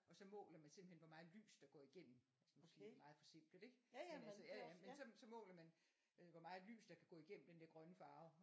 Og så måler man simpelthen hvor meget lys der går igennem altså nu siger jeg meget forsimplet ik men altså ja ja men så så måler man øh hvor meget lys der kan gå igennem den der grønne farve